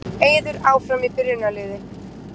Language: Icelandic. Eiður áfram í byrjunarliði